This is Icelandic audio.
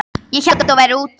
Ég hélt að þú værir úti.